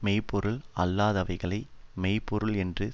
மெய் பொருள் அல்லாதவைகளை மெய் பொருள் என்று